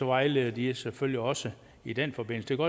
vejleder de selvfølgelig også i den forbindelse